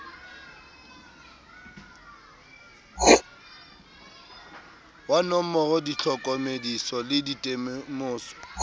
wa nomora ditlhokomediso le ditemoso